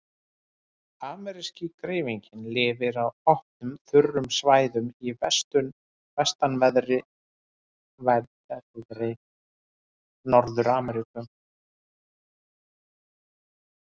Ameríski greifinginn lifir á opnum, þurrum svæðum í vestanverðri Norður-Ameríku.